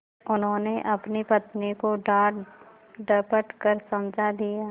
उन्होंने अपनी पत्नी को डाँटडपट कर समझा दिया